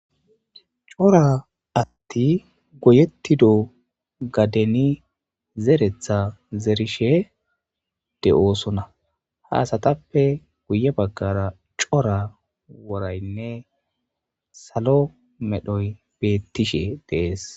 Cora atti goyettido gadeni zeretha zerishe de7oosona. Ha asatappe guye baggara cora woraynne salo medhoy beettishe de7ees.